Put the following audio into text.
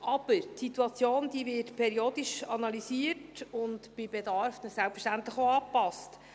Aber die Situation wird periodisch analysiert und bei Bedarf dann selbstverständlich auch angepasst.